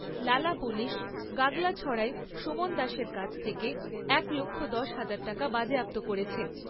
লালা পুলিশ গাগলাছড়ায় সুমন দাসের কাছ থেকে এক লক্ষ দশ হাজার টাকা বাজেয়াপ্ত করেছে।